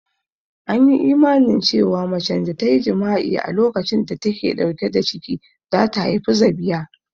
An yi imanin cewa macen da ta yi jima'i a lokacin da ta ke ɗauke da ciki za ta haifi zabiya